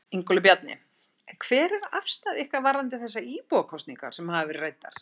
Ingólfur Bjarni: En hver er afstaða ykkar varðandi þessar íbúakosningar sem hafa verið ræddar?